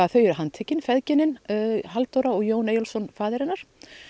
þau eru handtekin feðginin Halldóra og Jón Eyjólfsson faðir hennar